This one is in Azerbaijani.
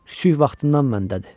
Kiçik vaxtından məndədir.